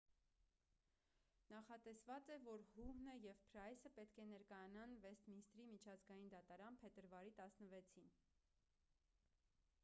նախատեսված է որ հուհնը և փրայսը պետք է ներկայանան վեսթմինիսթրի միջազգային դատարան փետրվարի 16-ին